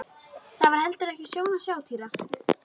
Það var heldur ekki sjón að sjá Týra.